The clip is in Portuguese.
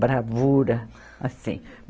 bravura, assim.